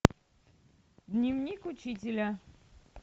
дневник учителя